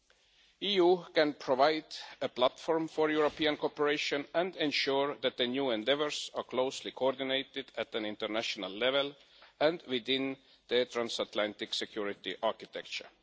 The EU can provide a platform for European cooperation and ensure that the new endeavours are closely coordinated at an international level and within the transatlantic security architecture.